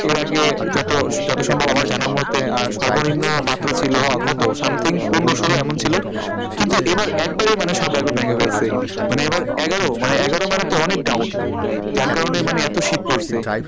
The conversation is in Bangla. এর আগে যত যত সম্ভব আমার জানা মতে আহ সর্বনিম্ন মাত্র ছিল কতো? something পনেরো ষোলো এমন ছিল কিন্তু এবার একেবারেই মানে সব বেগরাবাই হয়েগেছে মানে এবার এগারো এগারো মানে তো অনেক down যার কারণে মানে এতো শীত পড়েছে,